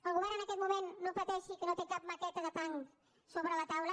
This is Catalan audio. el govern en aquest moment no pateixi que no té cap maqueta de tanc sobre la taula